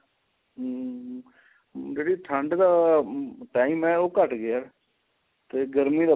ਹਮ ਜਿਹੜੀ ਠੰਡ ਦਾ time ਹੈ ਉਹ ਘੱਟ ਗਿਆ ਤੇ ਗਰਮੀ